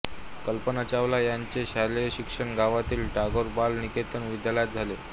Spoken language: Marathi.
कल्पना चावला यांचे शालेय शिक्षण गावातील टागोर बाल निकेतन विद्यालयात झाले